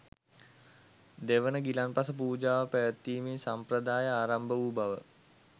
දෙවන ගිලන්පස පූජාව පැවැත්වීමේ සම්ප්‍රදාය ආරම්භ වූ බව